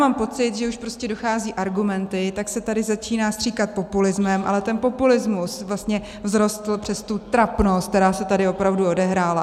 Mám pocit, že už prostě docházejí argumenty, tak se tady začíná stříkat populismem, ale ten populismus vlastně vzrostl přes tu trapnost, která se tady opravdu odehrála.